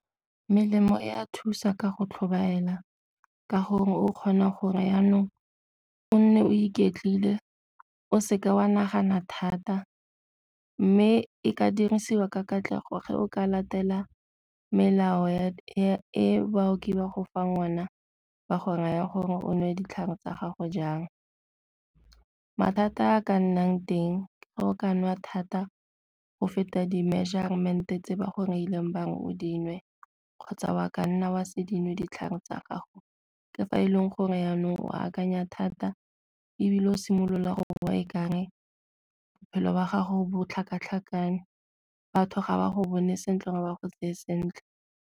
Melemo e a thusa ka go tlhobaela ka gore o kgona gore jaanong o nne o iketlile o seka wa nagana thata, mme e ka dirisiwa ka katlego fa o ka latela melao e baoki ba go fang ona ba go raya gore o nwe ditlhare tsa gago jang. Mathata a ka nnang teng fa o ka nwa thata go feta di-measurement-e tse ba go reileng ba re o di nwe kgotsa wa kanna wa se dinwe ditlhare tsa gago ke fa e leng gore jaanong oa akanya thata ebile o simolola go e ka re bophelo wa gago bo tlhakatlhakane batho ga ba go bone sentle ga ba go tseye sentle.